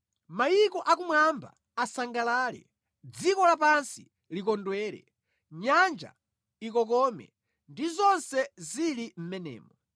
Mayiko akumwamba asangalale, dziko lapansi likondwere; nyanja ikokome, ndi zonse zili mʼmenemo;